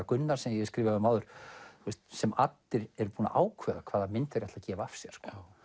Gunnar sem ég hef skrifað um áður sem eru búnir að ákveða hvaða mynd þeir ætla að gefa af sér